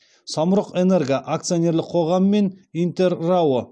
самұрық энерго акционерлік қоғамы мен интер рао